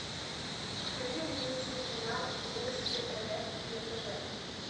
покажи мне телеканал вместе рф на тв